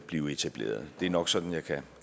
bliver etableret det er nok sådan jeg kan